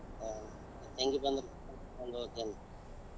ಹಾ ತಂಗಿ ಬಂದ್ರ ಕರಕೊಂಡ್ ಹೋಗ್ತೀನಿ.